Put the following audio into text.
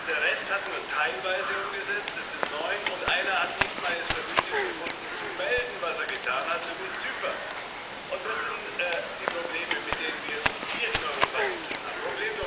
Der Rest hat nur teilweise umgesetzt, das sind neun, und einer hat es nicht mal für nötig befunden, zu melden, was er getan hat, nämlich Zypern. Das sind die Probleme, mit denen wir es hier in Europa zu tun haben.